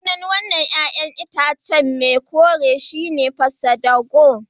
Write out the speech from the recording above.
Sunan wan nan ƴa'ƴan itace mai kore shi ne pasadabur.